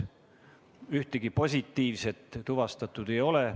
Ühtegi positiivset tuvastatud ei ole.